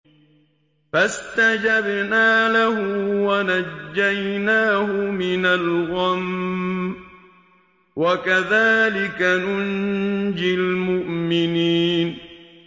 فَاسْتَجَبْنَا لَهُ وَنَجَّيْنَاهُ مِنَ الْغَمِّ ۚ وَكَذَٰلِكَ نُنجِي الْمُؤْمِنِينَ